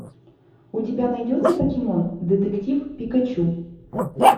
у тебя найдется покемон детектив пикачу